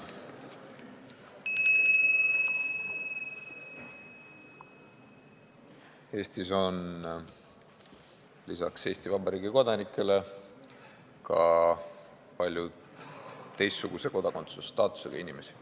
Eestis on lisaks Eesti Vabariigi kodanikele ka palju teistsuguse kodakondsusstaatusega inimesi.